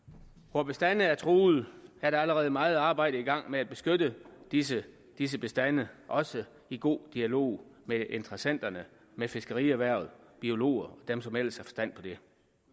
hvor bestande er truet er der allerede meget arbejde i gang med at beskytte disse disse bestande også i god dialog med interessenterne med fiskerierhvervet biologer og dem som ellers har forstand på det